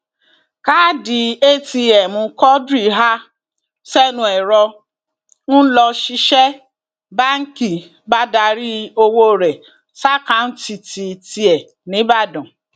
káàdì atm quadri ha sẹnu ẹrọ ń lọṣiṣẹ báǹkì bá darí ọwọ rẹ ṣàkàtúntì tiẹ nìbàdàn